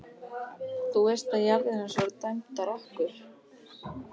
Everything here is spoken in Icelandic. Þú veist að jarðir hans voru dæmdar okkur!